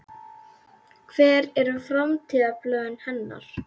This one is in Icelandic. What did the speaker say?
Hver eru framtíðarplön hennar?